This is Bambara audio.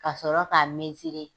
Ka sɔrɔ k'a mezire.